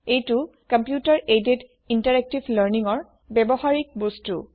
এইটো computer aided interactive learningৰ ব্যৱহাৰিক বস্তু